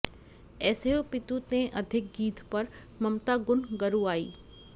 ऐसेहु पितु तें अधिक गीधपर ममता गुन गरुआई